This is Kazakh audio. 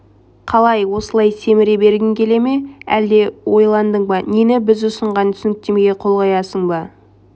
қалай осылай семіре бергің келе ме әлде ойландың ба нені біз ұсынған түсініктемеге қол қоясың ба